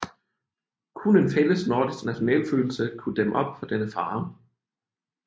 Kun en fælles nordisk nationalitetsfølelse kunne dæmme op for denne fare